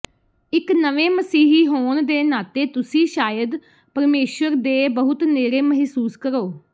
ਇੱਕ ਨਵੇਂ ਮਸੀਹੀ ਹੋਣ ਦੇ ਨਾਤੇ ਤੁਸੀਂ ਸ਼ਾਇਦ ਪਰਮੇਸ਼ੁਰ ਦੇ ਬਹੁਤ ਨੇੜੇ ਮਹਿਸੂਸ ਕਰੋ